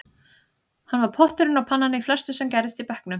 Hann var potturinn og pannan í flestu sem gerðist í bekknum, segir